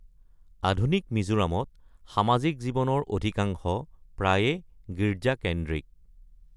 আধুনিক মিজোৰামত, সামাজিক জীৱনৰ অধিকাংশ প্ৰায়ে গীৰ্জা-কেন্দ্ৰিক।